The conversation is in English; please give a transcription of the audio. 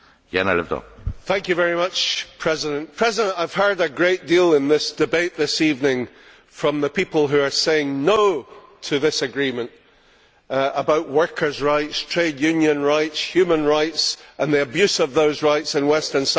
Mr President, I have heard a great deal in this debate this evening from the people who are saying no to this agreement about workers' rights, trade union rights, human rights and the abuse of those rights in Western Sahara.